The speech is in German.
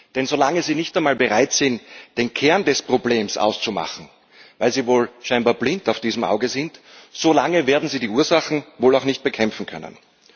Denn solange Sie nicht einmal bereit sind, den Kern des Problems auszumachen, weil Sie wohl scheinbar blind auf diesem Auge sind, so lange werden Sie die Ursachen wohl auch nicht bekämpfen können.